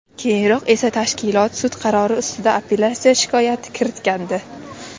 Keyinroq esa tashkilot sud qarori ustida apellyatsiya shikoyati kiritgandi.